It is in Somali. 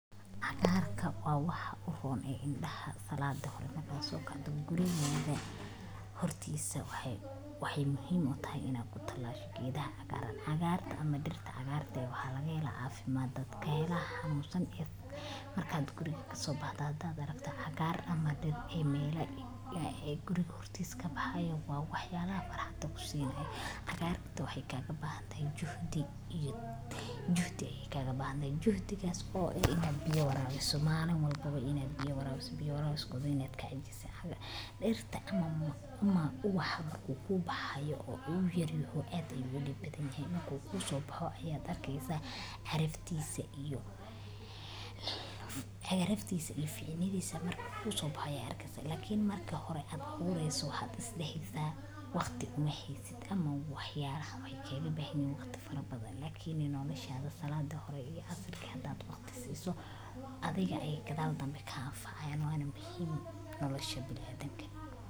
cagaar ka waa wax u hoon ee indhaha salada Markaa soo kadib guriga meelaha hortiisa, waxay waxyyuuhay muhiim u tahay inaad ku talaasho kiidaha hagaaran. Hagaarta ama dhirta. Cagaar day waa laga helaa caafimaad dadka eeg ah, nuusan iyo markaad guriga ka soo baxdaadaada rafta. Cagaar ama dhir ay meelo ay guriga hortiiska bahayo waa waxyaabaha faraxda kusii hayn. Hagaagita waxay kaaga baahan tahay jahdiyad. Juhde ay kaaga baahan tahay jahdigas oo ah inay biyo rawiso maalmo, waan kuugu iney biyo rawiso. Biyo rawisko si netka ajis ah. Dhirta ama umma u wadaagu wuxuu bahayo uu yaryahay aad weli badan yahay markii kuu soo baxo ayaa darkaysa xirifteyso iyo la xirfay lifceyneydaysa markii kuu soo baxo yar kasta. Lakiin marka hore aad xoorayso had isla hidhaa waqti uma haysid ama waxyaabaha way keego baahnim waqti farabada. Laakiin inoo na shayada salada iyo asarka da'da waqti siiso adiga ay gadaal danbe ka haafa ayano aanan bahin nolosha bilood haddan kale.